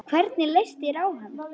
Hvernig leist þér á hann?